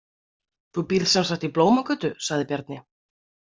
Þú býrð sem sagt í Blómagötu, sagði Bjarni.